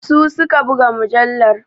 Su su ka buga mujallar.